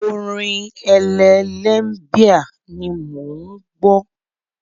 Orin Elle Limebear ni mò ń gbọ́.